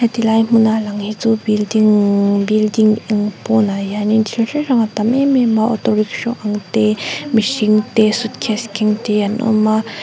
tilai hmuna lang hi chu building building eng pawnah hian in thil hrang hrang a tam em em a auto rickshaw ang te mihring te suitcase keng te an awm a--